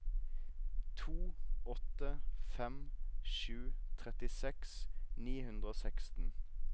to åtte fem sju trettiseks ni hundre og seksten